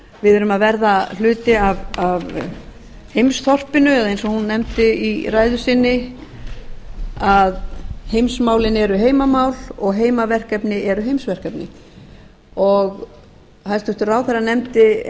við erum að verða hluti af heimsþorpinu eða eins og hún nefndi í ræðu sinni að heimsmálin eru heimamál og heimaverkefni eru heimsverkefni hæstvirtur ráðherra nefndi